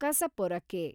ಕಸಪೊರಕೆ